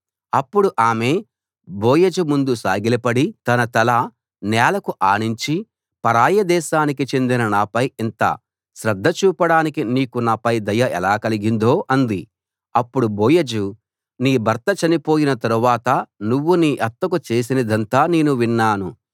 అప్పుడు ఆమె బోయజు ముందు సాగిలపడి తన తల నేలకు ఆనించి పరాయి దేశానికి చెందిన నాపై ఇంత శ్రద్ధ చూపడానికి నీకు నాపై దయ ఎలా కలిగిందో అంది అప్పుడు బోయజు నీ భర్త చనిపోయిన తరువాత నువ్వు నీ అత్తకు చేసినదంతా నేను విన్నాను